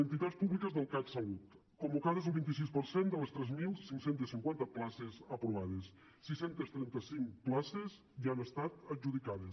entitats públiques del catsalut convocades el vint sis per cent de les tres mil cinc cents i cinquanta places aprovades sis cents i trenta cinc places ja han estat adjudicades